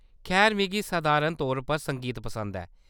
खैर, मिगी सधारण तौर पर संगीत पसंद ऐ।